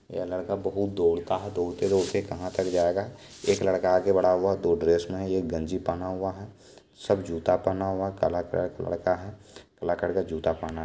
ये लड़का बहुत दौड़ता है दौड़ता- दौड़ता कहा तक जायेगा एक लड़का आगे बढ़ा हुआ है दो ड्रेस में है एक गंजी पहना हुआ सब जूता पहना हुआ है काला कलर का लड़का है काला कलर का जूता पहना--